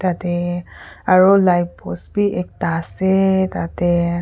jatte aru light post bhi ekta ase tarte--